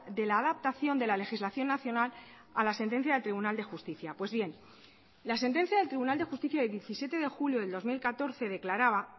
de la adaptación de la legislación nacional a la sentencia del tribunal de justicia pues bien la sentencia del tribunal de justicia de diecisiete de julio del dos mil catorce declaraba